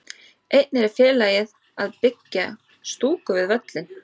Einnig er félagið að byggja stúku við völlinn.